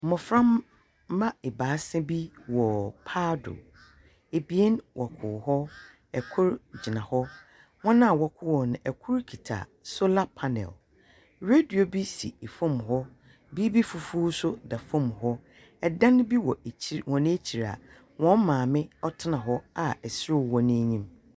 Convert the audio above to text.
Mmofra mma ɛbaasa bi wɔ paa do. Abien wɔ po hɔ, ɛkoro gyina hɔ. Wɔn a wɔho no ɛkoro kita solar panel. Radio bi si fam hɔ. Biribi foforɔ nso da fɔm hɔ. Ɛdan bi wɔ wɔn akyire a wɔn maame ɔtena hɔ wɔ ɛserɛ ho n'anim.